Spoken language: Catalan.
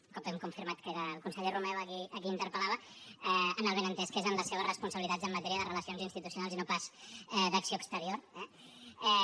un cop hem confirmat que era el conseller romeva a qui interpel·lava amb el benentès que és en les seves responsabilitats en matèria de relacions institucionals i no pas d’acció exterior eh